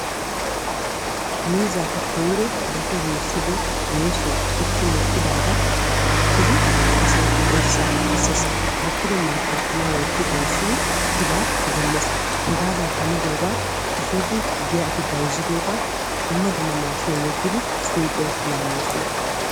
miizzaappe koyiro dafi yeessido yeesoy meqqi uttidaagaa bukkidi asay oyissaa kesses. bukkido maattaa taman wotti doyissidi pilaa demmes. hegaadan hanidoogaa efiidi giyaa efi bayzzidoogaa dumma dumma maashiiniyan yeggidi suyiqiyawu laammoosona.